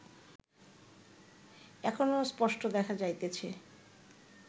এখনো স্পষ্ট দেখা যাইতেছে